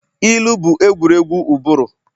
ilu bụ egwuregwu ụbụrụ